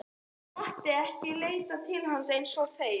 Mátti ég ekki leita til hans eins og þeir?